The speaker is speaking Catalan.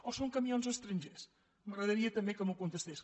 o són camions estrangers m’agradaria també que m’ho contestés